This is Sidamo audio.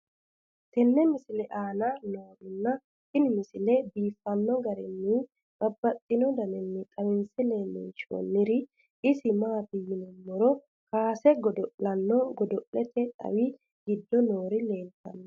tenne misile aana noorina tini misile biiffanno garinni babaxxinno daniinni xawisse leelishanori isi maati yinummoro kassete godo'lanno godo'lette xawi giddo noori leelittanno.